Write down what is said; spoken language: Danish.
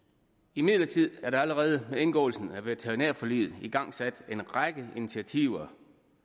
imidlertid er der allerede ved indgåelsen af veterinærforliget igangsat en række initiativer